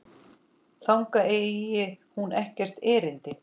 Þangað eigi hún ekkert erindi.